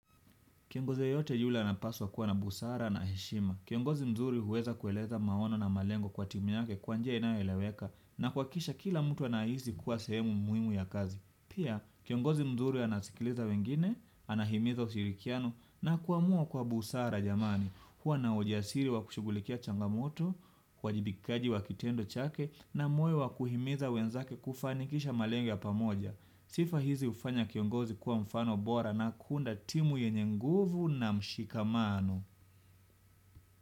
Kiongozi yeyote yule anapaswa kuwa na busara na heshima. Kiongozi mzuri huweza kueleza maono na malengo kwa timu yake kwa njia inayoeleweka, na kuhakikisha kila mtu anahisi kuwa sehemu muhimu ya kazi. Pia kiongozi mzuri anasikiliza wengine, anahimiza ushirikiano na kuamua kwa busara jamani. Huwa na ujasiri wa kushughulikia changamoto, uwajibikaji wa kitendo chake na moyo wa kuhimiza wenzake kufanikisha malengo ya pamoja. Sifa hizi hufanya kiongozi kuwa mfano bora na kuunda timu yenye nguvu na mshikamano.